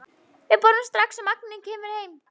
Við borðum strax og Mangi kemur heim.